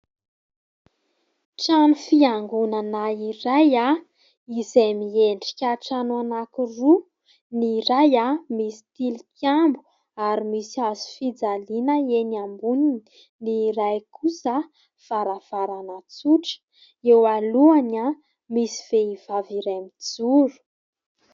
Trano fiangonana iray izay miendrika trano anankiroa. Ny iray misy tilikambo ary misy hazo fijaliana eny amboniny, ny iray kosa varavarana tsotra. Eo alohany misy vehivavy iray mijoro.